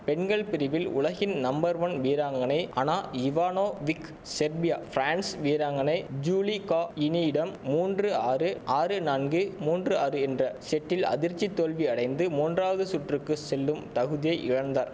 பெண்கள் பிரிவில் உலகின் நம்பர் ஒன் வீராங்கனை அனா இவானோவிக் செர்பியா பிரான்சு வீராங்கனை ஜுலிகாயினிடம் மூன்று ஆறு ஆறு நான்கு மூன்று ஆறு என்ற செட்டில் அதிர்ச்சி தோல்வி அடைந்து மூன்றாவது சுற்றுக்கு செல்லும் தகுதியை இழந்தார்